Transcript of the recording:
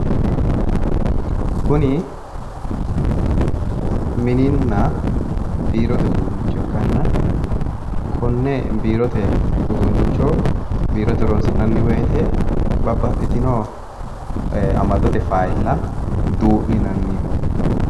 kuni mininna biirote uduunnicho ikkanna konne biirote uduunnicho biirote horoonsi'nanni woyite babaxxitino amadote fayila duu'ninaniho.